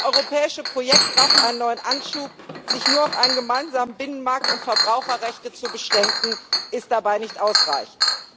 Das europäische Projekt braucht einen neuen Anschub. Sich nur auf einen gemeinsamen Binnenmarkt und Verbraucherrechte zu beschränken, ist dabei nicht ausreichend.